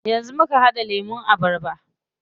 Yanzu muka haɗa lemun abarba.